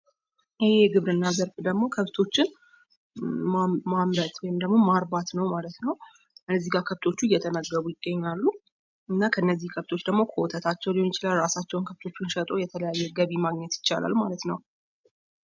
ይህ የግብርና ዘርፍ ደግሞ ከብቶችን ማምረት ወይም ድግሞ ማርባት ነው ማለት ነው። እዚጋ ከብቶች እየተመገቡ ይገኛሉ እና ከነዚህ ከብቶች ደግሞ ከወተታቸው ሊሆን ይችላል፤ እራሳቸዉን ከብቶቹን ሽጠዉ የተለያየ ገቢ ማገኘት ይቻላል ማለት ነው ።